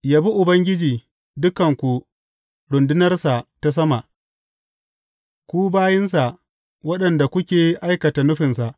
Yabi Ubangiji, dukanku rundunarsa ta sama, ku bayinsa waɗanda kuke aikata nufinsa.